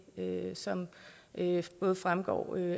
som fremgår af